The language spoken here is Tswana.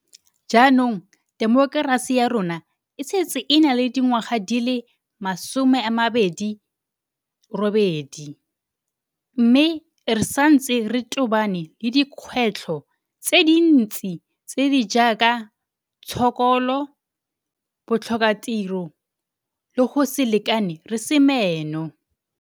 Jaanong temokerasi ya rona e setse e na le dingwaga di le 28, mme re santse re tobane le dikgwetlho tse dintsi tse di jaaka tshokolo, botlhokatiro le go se lekane re se meno.